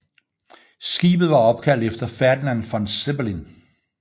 Skibet var opkaldt efter Ferdinand von Zeppelin